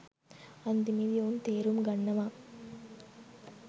අන්තිමේදි ඔවුන් තේරුම් ගන්නවා